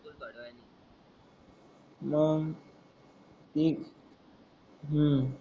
मग ते हम्म